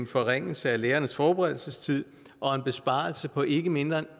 forringelser af lærernes forberedelsestid og en besparelse på ikke mindre end